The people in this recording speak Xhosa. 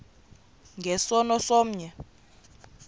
nge sono somnye